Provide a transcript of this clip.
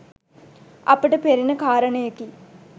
අපට පෙනෙන කාරණයකි.